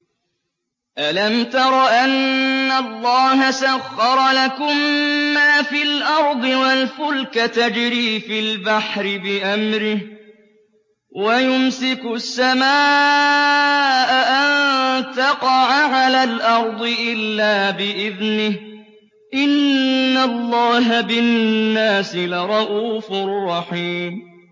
أَلَمْ تَرَ أَنَّ اللَّهَ سَخَّرَ لَكُم مَّا فِي الْأَرْضِ وَالْفُلْكَ تَجْرِي فِي الْبَحْرِ بِأَمْرِهِ وَيُمْسِكُ السَّمَاءَ أَن تَقَعَ عَلَى الْأَرْضِ إِلَّا بِإِذْنِهِ ۗ إِنَّ اللَّهَ بِالنَّاسِ لَرَءُوفٌ رَّحِيمٌ